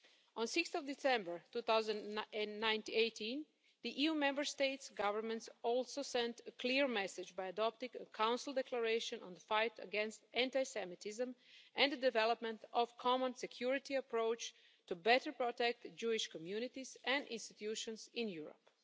On 6 December 2018, the EU Member State Governments also sent a clear message by adopting a Council Declaration on the fight against anti-Semitism and the development of a common security approach to better protect Jewish communities and institutions in Europe.